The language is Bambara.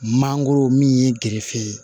Mangoro min ye gerefe ye